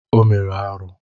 O mere arụ.